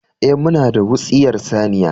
Eh, muna da wutsiyar saniya